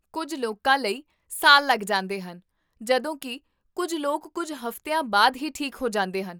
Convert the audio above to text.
ਕੁੱਝ ਲੋਕਾਂ ਲਈ ਸਾਲ ਲੱਗ ਜਾਂਦੇ ਹਨ, ਜਦੋਂ ਕੀ ਕੁੱਝ ਲੋਕ ਕੁੱਝ ਹਫ਼ਤਿਆਂ ਬਾਅਦ ਹੀ ਠੀਕ ਹੋ ਜਾਂਦੇ ਹਨ